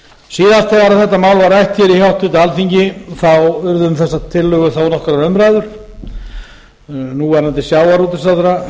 til síðast þegar þetta mál var rætt hér í háttvirtu alþingi urðu um þessar tillögur þó nokkrar umræður núverandi sjávarútvegsráðherra